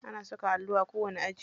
Ana saka allo a kowani aji.